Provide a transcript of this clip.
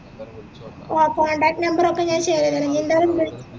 ആഹ് contact number ഒക്കെ ഞാൻ share ചെയ്യാ ഇന്ജെന്തായാലും